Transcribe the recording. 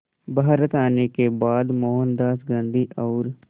भारत आने के बाद मोहनदास गांधी और